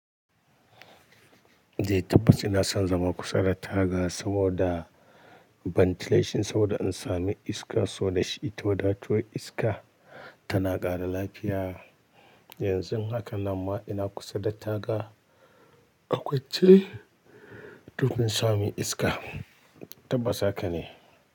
Eh tabbas ina son zama kusa da taga saboda ventilation saboda in sami iska, so dashi ta wadato iska tana ƙara lafiya. Yanzun hakan nan ma ina kusa da taga a kwace, domin in sami iska. Tabbas haka ne.